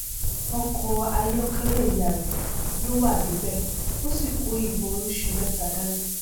ọkọ ayọkẹlẹ ìyá rẹ ló wà débẹ ó sì kó ibọn oríṣìí mẹta dání